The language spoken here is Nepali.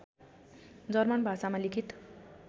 जर्मन भाषामा लिखित